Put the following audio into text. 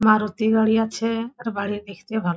মারুতি গাড়ি আছে-এ এর বাইরের দিক থেকে ভালো--